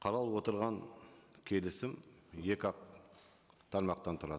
қаралып отырған келісім екі ақ тармақтан тұрады